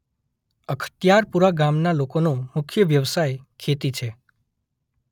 અખત્યારપુરા ગામના લોકોનો મુખ્ય વ્યવસાય ખેતી છે.